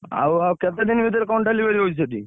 ଆଉ ଆଉ କେତେ ଦିନି ଭିତରେ କଣ delivery ହଉଛି ସେଠି?